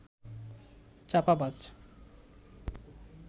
চাপাবাজ